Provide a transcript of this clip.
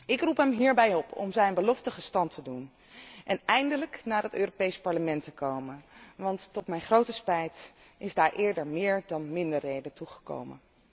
Ik roep hem hierbij op om zijn beloften gestand te doen en eindelijk naar het Europees Parlement te komen, want tot mijn grote spijt is daar eerder meer dan minder reden toe gekomen.